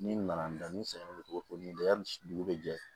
Ni n nana n da ni n sɛgɛn cogo min dɛ yani dugu bɛ jɛ